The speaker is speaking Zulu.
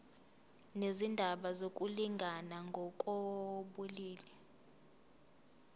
nezindaba zokulingana ngokobulili